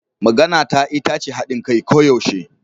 Maganata ita ce hadin kai koyaushe.